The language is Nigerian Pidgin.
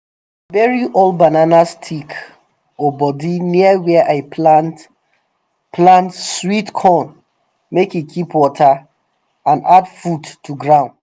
bury old banana stick or body near where i plant plant sweet corn make e keep water and add food to ground